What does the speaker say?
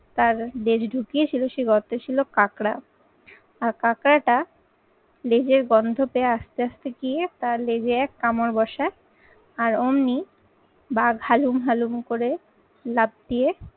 তার লেজ ঢুকিয়েছিল সেই গর্তে ছিল কাঁকড়া, আর কাঁকড়া টা লেজের গন্ধ পেয়ে আস্তে আস্তে গিয়ে তার লেজে এক কামড় বসায় আর অমনি বাঘ হালুম হালুম করে লাফ দিয়ে